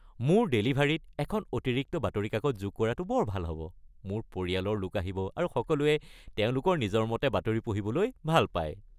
মোৰ ডেলিভাৰীত এখন অতিৰিক্ত বাতৰি কাকত যোগ কৰাটো বৰ ভাল হ'ব! মোৰ পৰিয়ালৰ লোক আহিব, আৰু সকলোৱে তেওঁলোকৰ নিজৰ মতে বাতৰি পঢ়িবলৈ ভাল পায়।